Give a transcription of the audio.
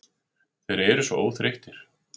Þeir eru svo óþreyttir.